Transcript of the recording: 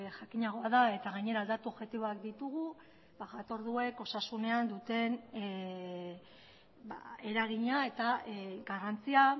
jakinagoa da eta gainera datu objektiboak ditugu jatorduek osasunean duten eragina eta garrantzia